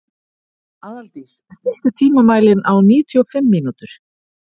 Aðaldís, stilltu tímamælinn á níutíu og fimm mínútur.